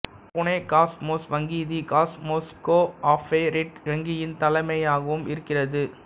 Pune Cosmos வங்கிதி Cosmos cooperative வங்கியின் தலைமையகமாகவும் இருக்கிறது